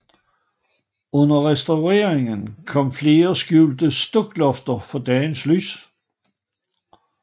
Under restaureringen kom flere skjulte stuklofter for dagens lys